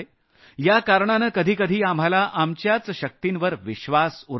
या कारणानं कधी कधी आपल्याला आपल्याच शक्तिवर विश्वास उरत नाही